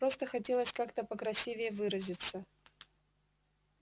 просто хотелось как-то покрасивее выразиться